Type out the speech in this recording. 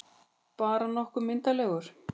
Bara nokkuð myndarlegur.